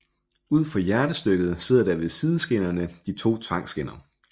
Ud for hjertestykket sidder der ved sideskinnerne to tvangskinner